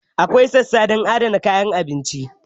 Akwai sassa don adana kayan abinci.